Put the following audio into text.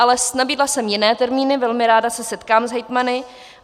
Ale nabídla jsem jiné termíny, velmi ráda se setkám s hejtmany.